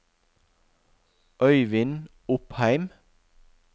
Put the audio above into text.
Øyvind Opheim